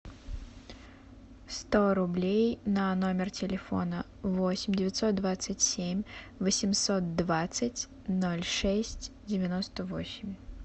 сто рублей на номер телефона восемь девятьсот двадцать семь восемьсот двадцать ноль шесть девяносто восемь